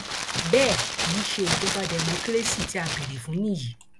bẹẹ kì í ṣe ìjọba dẹmọkírésì tí a béèrè fún nìyí